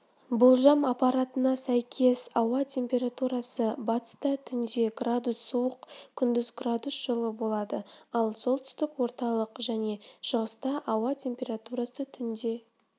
болжам ақпарына сәйкес ауа температурасы батыста түнде градус суық күндіз градус жылы болады ал солтүстік орталық және шығыста ауа температурасы түнде